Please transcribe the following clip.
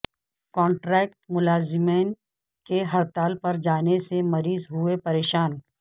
contract ملازمین کے ہڑتال پر جانے سے مریض ہوئے پریشان